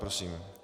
Prosím.